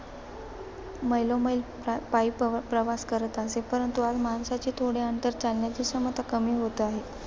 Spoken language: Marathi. मैलोमैली पापायी प्रप्रवास करत असे. परंतु आज माणसाची थोडे अंतर चालण्याची क्षमता कमी होतं आहे.